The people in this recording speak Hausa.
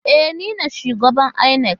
E, ni ne shugaban inec.